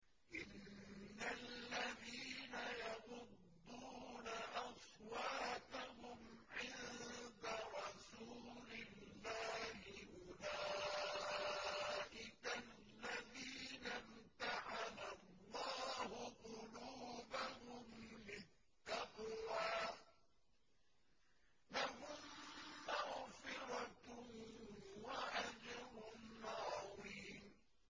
إِنَّ الَّذِينَ يَغُضُّونَ أَصْوَاتَهُمْ عِندَ رَسُولِ اللَّهِ أُولَٰئِكَ الَّذِينَ امْتَحَنَ اللَّهُ قُلُوبَهُمْ لِلتَّقْوَىٰ ۚ لَهُم مَّغْفِرَةٌ وَأَجْرٌ عَظِيمٌ